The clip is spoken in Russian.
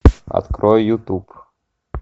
открой ютуб